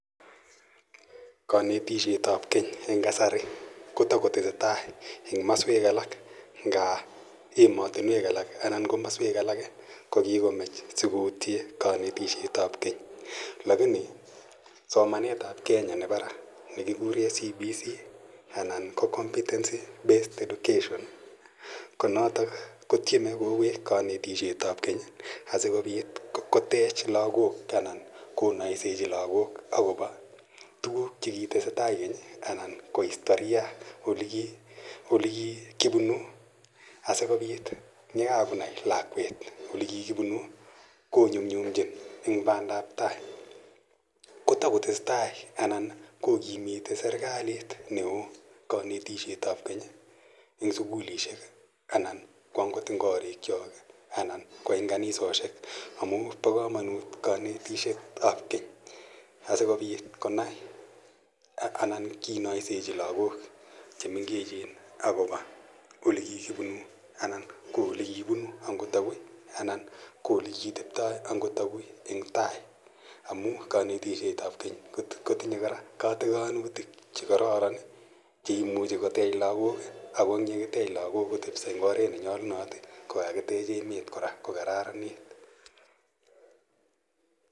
Knatishet ap keny eng' kasari ko tako tesetai eng' maswek alak nga ematunwek alak anan ko komaswek alak ko kikomach asikoutie kanetishet ap keny lakini somanet ap Kenya nepo ra ne kikure CBC anan ko Competency Based Education ko notok ko tieme kowek kanetishet ap keny asikopit kotech lagok anan konaisechi lagok akopa tuguk che kitese tai keny anan ko istoria, tuguuk che kikipunu asikopit ye kaonai lakwet ole kikipunu ko nyumnyumchin eng' pandaptai. Ko tako tese tai kokimiti serikalit ne oo kanetishet ap keny eng' sukulishek anan ko angot eng' koriikchok anan ko eng' kanisoshek amu pa kamanut kanetishet ap keny asikopit konai anan ko sasikopit kinaisecho lagok che mengechen akopa ole kikipunu anan ko ole kipunu angot agui anan komole kiteptai angor agui eng' tai amu kanetishet ap keny kotinye katikanutik che imuchi kotech lagok . Ako ye kakitech algook kotepisa eng' oret ne nyalunot ko kakitech emet kora ko kararanit.